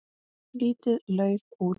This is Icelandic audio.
Lítið lauf út.